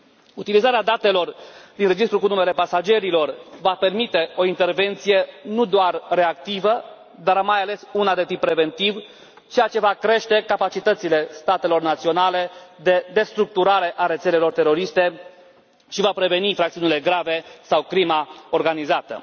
Utilizarea datelor din registrul cu numele pasagerilor va permite o intervenție nu doar reactivă, dar mai ales una de tip preventiv, ceea ce va crește capacitățile statelor naționale de destructurare a rețelelor teroriste și va preveni infracțiunile grave sau crima organizată.